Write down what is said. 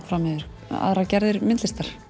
fram yfir aðrar gerðir myndlistar